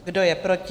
Kdo je proti?